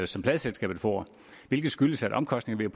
som pladeselskabet får det skyldes at omkostningerne